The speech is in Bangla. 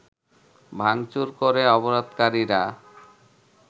ভাঙচুর করে অবরোধকারীরা